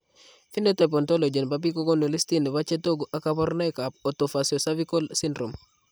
Phenotype ontology nebo biik kokoonu listini bo chetogu ak kaborunoik ab otofaciocervical syndrome